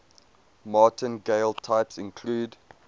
martingale types include